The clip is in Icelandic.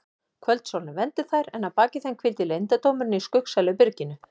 Kvöldsólin vermdi þær en að baki þeim hvíldi leyndardómurinn í skuggsælu byrginu.